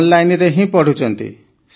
ଅନଲାଇନରେ ହିଁ ପଢ଼ୁଛନ୍ତି